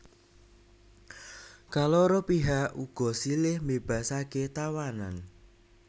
Kaloro pihak uga silih mbébasaké tawanan